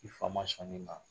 I fa ma sɔn nin ma.